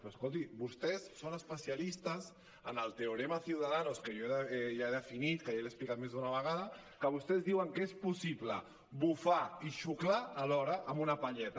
però escolti vostès són especialistes en el teorema ciudadanos que jo ja he definit que ja l’he explicat més d’una vegada que vostès diuen que és possible bufar i xuclar alhora amb una palleta